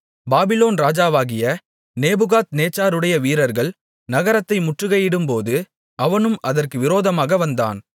Babylon ராஜாவாகிய நேபுகாத்நேச்சாருடைய வீரர்கள் நகரத்தை முற்றுகையிடும்போது அவனும் அதற்கு விரோதமாக வந்தான்